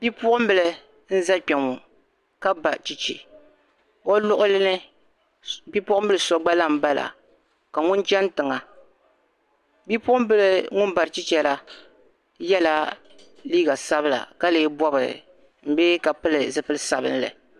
Bipuɣimbila n-za kpɛŋɔ ka ba cheche o luɣili ni bipuɣimbila so gba lahi bala ka ŋun chani tiŋa. Bipuɣimbila ŋum bari cheche la yɛla liiga sabila ka lee bɔbi bee ka pili zipil' sabilinli.